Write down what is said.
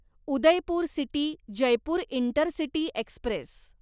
Udaipur city Jaipur intercity Express